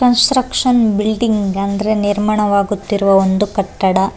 ಕನ್ಸ್ ಸ್ಟ್ರಕ್ಷನ್ ಬಿಲ್ಡಿಂಗ್ ಅಂದ್ರೆ ನಿರ್ಮಾಣವಾಗುತ್ತಿರುವ ಒಂದು ಕಟ್ಟಡ.